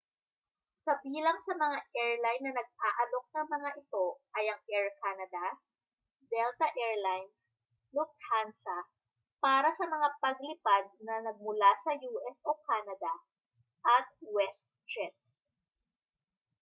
kabilang sa mga airline na nag-aalok ng mga ito ay ang air canada delta air lines lufthansa para sa mga paglipad na nagmula sa u s o canada at westjet